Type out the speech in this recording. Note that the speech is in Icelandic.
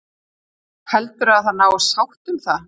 Heldurðu að það náist sátt um það?